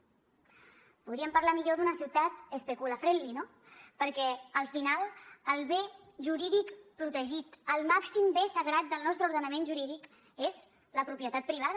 podríem parlar millor d’una ciutat especula friendly no perquè al final el bé jurídic protegit el màxim bé sagrat del nostre ordenament jurídic és la propietat privada